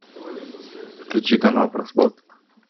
включи канал про спорт